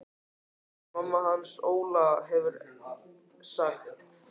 Jóna mamma hans Óla hefur sagt.